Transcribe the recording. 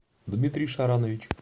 дмитрий шаранович